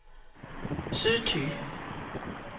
Sydthy